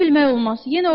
Səni bilmək olmaz.